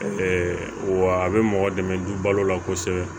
wa a bɛ mɔgɔ dɛmɛ du balo la kosɛbɛ